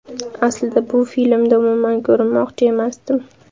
Aslida bu filmda umuman ko‘rinmoqchi emasdim”.